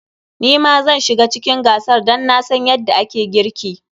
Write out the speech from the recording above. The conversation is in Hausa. Ni ma zan shiga cikin gasar dan na san yadda ake girki.